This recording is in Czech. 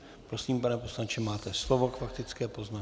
Prosím, pane poslanče, máte slovo k faktické poznámce.